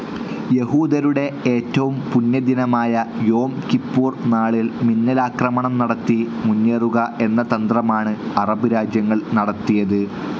യഹൂദരുടെ ഏറ്റവും പുണ്യദിനമായ യോം കിപ്പൂർ നാളിൽ മിന്നലാക്രമണം നടത്തി മുന്നേറുക എന്ന തന്ത്രമാണ് അറബ് രാജ്യങ്ങൾ നടത്തിയത്.